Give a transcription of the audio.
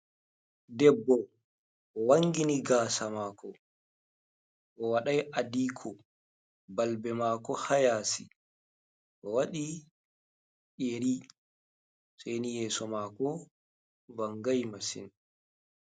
Ɗebbo wangini gasa mako. Owaɗai aɗiko balbe mako ha yasi. waɗi yeri saini yeso mako vangai masin.